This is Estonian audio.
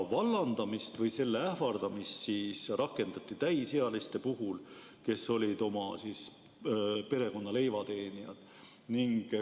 Vallandamist või sellega ähvardamist rakendati täisealiste puhul, kes olid perekonna leivateenijad.